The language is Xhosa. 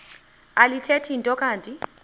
alithethi nto kanti